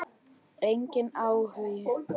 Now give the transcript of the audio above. Enginn áhugi.